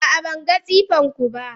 a'a, ban ga tsefenku ba.